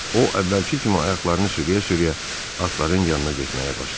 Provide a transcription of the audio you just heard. O əvvəlki kimi ayaqlarını sürüyə-sürüyə atların yanına getməyə başladı.